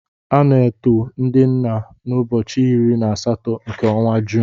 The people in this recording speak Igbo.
A na-eto ndị nna n'ụbọchị iri na asatọ nke ọnwa Juun.